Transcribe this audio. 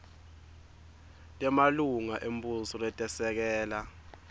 temalunga embuso letesekela